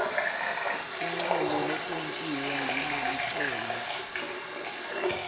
tincomo letentiwe ngulelicembu